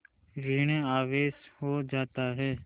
ॠण आवेश हो जाता है